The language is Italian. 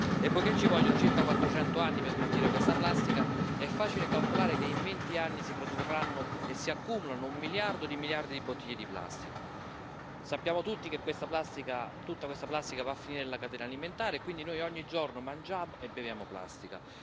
e poiché ci vogliono circa quattrocento anni per smaltire questa plastica è facile calcolare che in venti anni si produrranno e si accumuleranno un miliardo di miliardi di bottiglie di plastica. Sappiamo tutti che tutta questa plastica va a finire nella catena alimentare e quindi noi ogni giorno mangiamo e beviamo plastica.